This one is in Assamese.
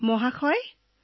অলপ কওক